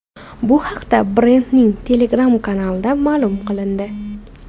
Bu haqda brendning Telegram kanalida ma’lum qilindi.